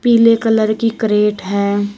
पीले कलर की क्रेट है।